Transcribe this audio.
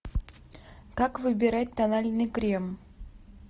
как выбирать тональный крем